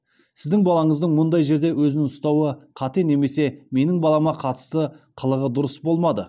сіздің балаңыздың мұндай жерде өзін ұстауы қате немесе менің балама қатысты қылығы дұрыс болмады